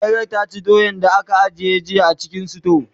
ɓera ta ci doyan da aka ajiye a cikin suto